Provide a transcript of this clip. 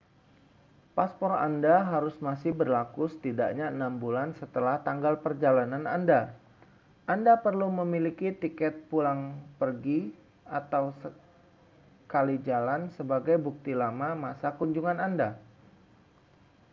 paspor anda harus masih berlaku setidaknya 6 bulan setelah tanggal perjalanan anda. anda perlu memiliki tiket pulang pergi/sekali jalan sebagai bukti lama masa kunjungan anda